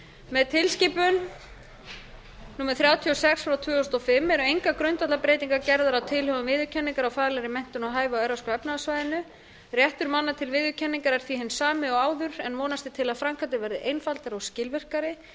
með tilskipun númer þrjátíu og sex tvö þúsund og fimm eru engar grundvallarbreytingar gerðar á tilhögun viðurkenningar á faglegri menntun og hæfi á evrópska efnahagssvæðinu réttur manna til viðurkenningar er því hinn sami og áður en vonast er til að framkvæmdin verði einfaldari og skilvirkari